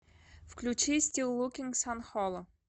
включи стил лукинг сан холо